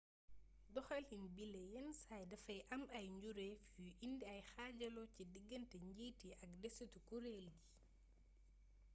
doxalin bile yennsaay dafay am ay njureef yuy indi ay xaajaloo ci diggante njiit yi ak desitu kureel gi